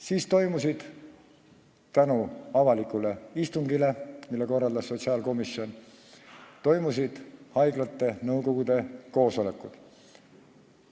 Siis toimusid tänu avalikule istungile, mille korraldas sotsiaalkomisjon, haiglate nõukogude koosolekud.